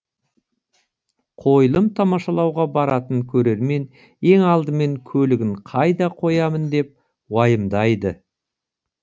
қойылым тамашалауға баратын көрермен ең алдымен көлігін қайда қоямын деп уайымдайды